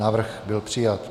Návrh byl přijat.